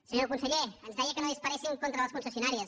senyor conseller ens deia que no disparéssim contra les concessionàries